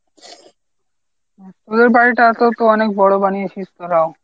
তোদের বাড়িটাও তো অনেক বড় বানিয়েছিস তোরাও।